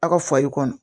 Aw ka fali kɔnɔ